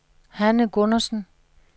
Hanne Gundersen